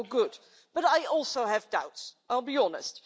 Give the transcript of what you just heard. That's all good. But I also have doubts, I'll be honest.